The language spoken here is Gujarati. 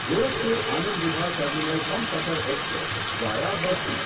Gorakhpur Anand Vihar terminal Humsafar express via Basti